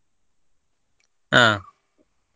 ಹಾ.